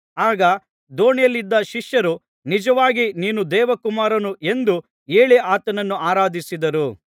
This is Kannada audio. ಆಗ ದೋಣಿಯಲ್ಲಿದ್ದ ಶಿಷ್ಯರು ನಿಜವಾಗಿ ನೀನು ದೇವಕುಮಾರನು ಎಂದು ಹೇಳಿ ಆತನನ್ನು ಆರಾಧಿಸಿದರು